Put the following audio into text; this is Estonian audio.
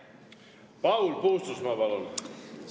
Paul Puustusmaa, palun!